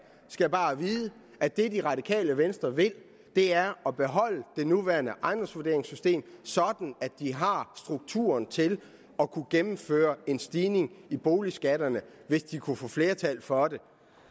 skal bare vide at det det radikale venstre vil er at beholde det nuværende ejendomsvurderingssystem sådan at de har strukturen til at kunne gennemføre en stigning i boligskatterne hvis de kunne få flertal for det